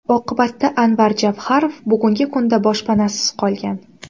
Oqibatda Anvar Javharov bugungi kunda boshpanasiz qolgan.